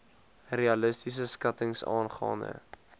realistiese skattings aangaande